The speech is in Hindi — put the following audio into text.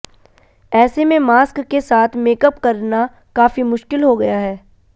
ऐसे में मास्क के साथ मेकअप करना काफी मुश्किल हो गया है